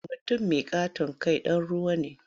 Mutum mai ƙaton kai ɗan ruwa ne.